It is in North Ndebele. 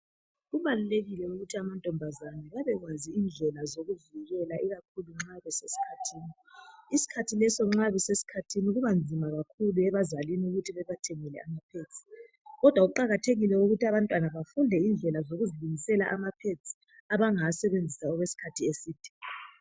Kubalulekile ukuthi amantombazana abekwazi indlela zokuvikela ikakhulu nxa besesikhathini ikakhulu isikhathi leso nxa besesikhathini kubanzima kakhulu ebazalini ukuthi bebathengele ama pads kodwa kuqakathekile ukuthi abantwana bafunde indlela zokuzilungisela ama pads abangawasebenzisa okwesikhathi eside